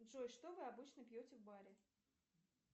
джой что вы обычно пьете в баре